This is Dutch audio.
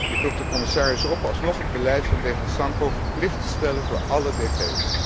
Ik roep de commissaris op alsnog het beleid van DG SANCO verplicht te stellen voor alle DG's.